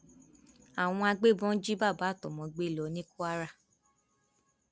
àwọn agbébọn jí bàbá àtọmọ gbé lọ ní kwara